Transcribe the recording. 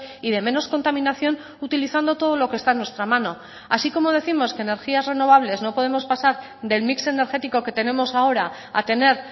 y de menos contaminación utilizando todo lo que está en nuestra mano así como décimos que energías renovables no podemos pasar del mix energético que tenemos ahora a tener